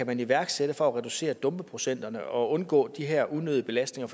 kan iværksætte for at reducere dumpeprocenterne og undgå de her unødige belastninger